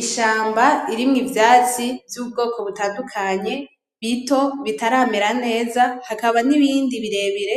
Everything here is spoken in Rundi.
Ishamba irimwo ivyatsi vy’ ubwoko butandukanye , bito, bitaramera neza hakaba n’ibindi birebire